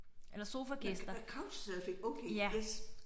Nåh nåh couch surfing okay yes